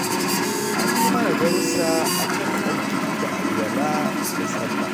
An yi mana darussa a kan tsarki da alwala da sallah